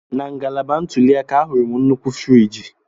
Na ngalaba ntuli aka, ahụrụ m nnukwu friji.